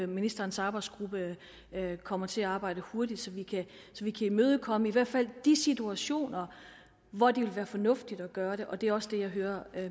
ministerens arbejdsgruppe kommer til at arbejde hurtigt så vi kan imødekomme i hvert fald de situationer hvor det ville være fornuftigt at gøre det og det er også det jeg hører